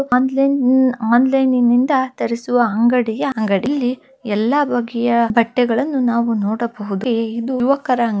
online hmm online ನಿಂದ ತರಿಸುವ ಅಂಗಡಿಯ ಅಂಗಡಿ ಇಲ್ಲಿ ಎಲ್ಲ ಬಗೆಯ ಬಟ್ಟೆಗಳನ್ನು ನಾವು ನೋಡಬಹುದು ಇದು ಯುವಕರ--